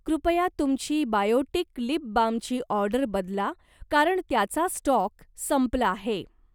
कृपया तुमची बायोटिक लिप बामची ऑर्डर बदला कारण त्याचा स्टॉक संपला आहे